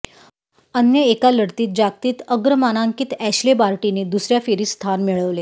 अन्य एका लढतीत जागतिक अग्रमानांकित ऍश्ले बार्टीने दुसऱया फेरीत स्थान मिळविले